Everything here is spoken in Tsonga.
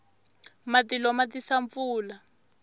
matilo ma tisa pfula